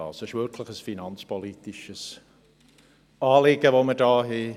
Es ist wirklich ein finanzpolitisches Anliegen, das wir haben.